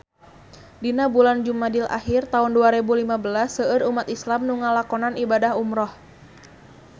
Dina bulan Jumadil ahir taun dua rebu lima belas seueur umat islam nu ngalakonan ibadah umrah